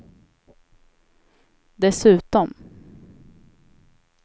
dessutom